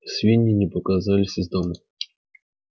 свиньи не показывались из дома